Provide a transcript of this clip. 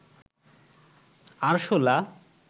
আরশোলা